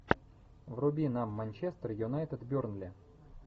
вруби нам манчестер юнайтед бернли